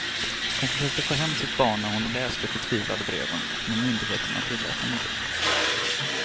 Hon försökte få hem sitt barn när hon läst de förtvivlade breven, men myndigheterna tillät henne inte.